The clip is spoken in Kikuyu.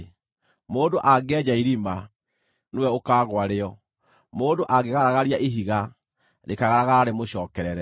Mũndũ angĩenja irima, nĩwe ũkaagũa rĩo; mũndũ angĩgaragaria ihiga, rĩkaagaragara rĩmũcookerere.